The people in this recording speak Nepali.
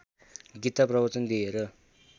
गीता प्रवचन दिएर